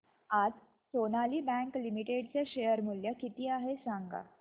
आज Sonali bank limited चे share मूल्य किती आहे सांगा